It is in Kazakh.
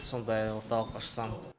сондай орталық ашсам